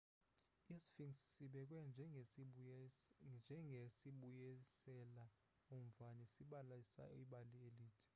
i-sphinx sibekwe njengesibuyisela umva nesibalisa ibali elide